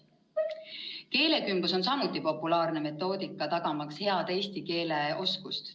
Keelekümblus on samuti populaarne metoodika, tagamaks head eesti keele oskust.